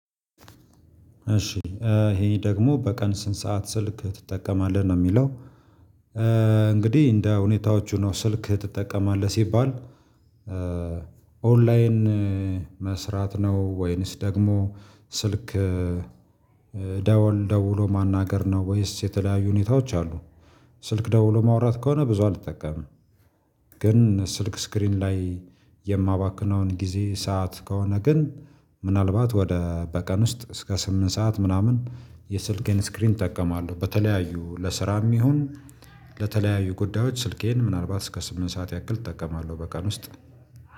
እሺ ይሄ ደግሞ በቀን ስንት ሰዓት ስልክ ትጠቀማለህ ነው የሚለው? እንግዲህ እንደ ሁኔታዎቹ ነው ስልክ ትጠቀማለህ ሲባል ኦንላይን መስራት ነው ወይንስ ደግሞ ስልክ ደወል ደውሎ ማናገር ነው ወይንስ የተለያዩ ሁኔታዎች አሉ። ስልክ ደውሎ ማውራት ከሆነ ብዙ አልጠቀምም። ግን ስልክ ስክሪን ላይ የማባክነውን ጊዜ ሰዓት ከሆነ ግን ምናልባት ወደ በቀን ውስጥ እስከ ስምንት ሰዓት ምናምን የስልኬን ስክሪን እጠቀማለሁ በተለያዩ ለስራም ይሁን ለተለያዩ ጉዳዮች ስልኬን ምናልባት እስከ ስምንት ሰዓት ያክል እጠቀማለሁ። በቀን ውስጥ